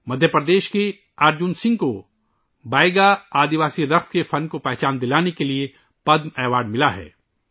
مدھیہ پردیش کے ارجن سنگھ کو بیگا قبائلی رقص کے فن کو پہچان دلناے کے لئے پدم ایوارڈ ملا ہے